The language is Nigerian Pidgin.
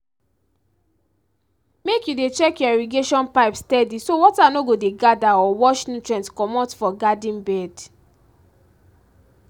make you dey check your irrigation pipe steady so water no go dey gather or wash nutrient comot for garden bed